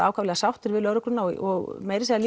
ákaflega sáttir við lögregluna og meira segja